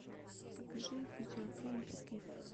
покажи видеофильм скиф